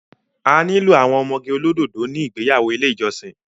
A nílò àwọn ọmọge olódòdó ní ìgbéyàwó ilé ìjọsìn